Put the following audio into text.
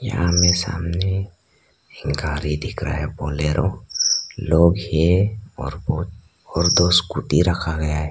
यहां में सामने एक गाड़ी दिख रहा है बोलेरो लोग है और दो स्कूटी रखा गया है।